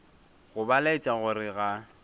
go ba laetša gore ga